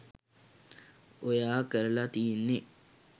ඔයා කරලා තියෙන්නේ